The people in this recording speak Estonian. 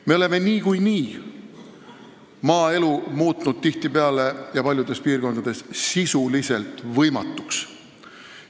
Me oleme niikuinii muutnud maaelu tihtipeale ja paljudes piirkondades sisuliselt võimatuks.